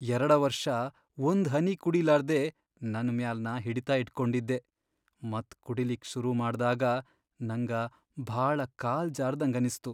ಯರಡ ವರ್ಷ ಒಂದ್ಹನಿ ಕುಡಿಲಾರ್ದೆ ನನ್ ಮ್ಯಾಲ್ ನಾ ಹಿಡಿತ ಇಟ್ಕೊಂಡಿದ್ದೆ ಮತ್ ಕುಡಿಲಿಕ್ಕಿ ಸುರು ಮಾಡ್ದಾಗ ನಂಗ ಭಾಳ ಕಾಲ್ ಜಾರ್ದಂಗನಿಸ್ತು.